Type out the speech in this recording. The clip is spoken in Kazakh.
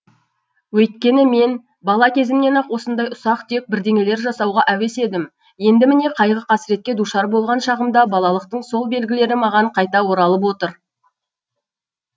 өйткені мен бала кезімнен ақ осындай ұсақ түйек бірдеңелер жасауға әуес едім енді міне қайғы қасіретке душар болған шағымда балалықтың сол белгілері маған қайта оралып отыр